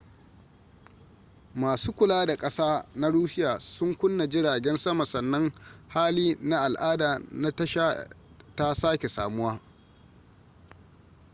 masu kula da kasa na russia sun kunna jiragen sama sannan hali na al'ada na tasha ta sake samuwa